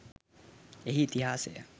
එහි ඉතිහාසය